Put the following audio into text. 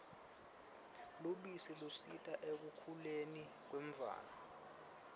lubisi lusita ekukhuleni kwemtfwana